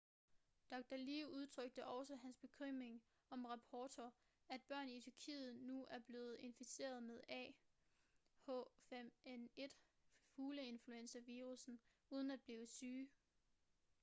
dr. lee udtrykte også hans bekymring om rapporter at børn i tyrkiet nu er blevet inficeret med ah5n1 fugleinfluenza-virussen uden at blive syge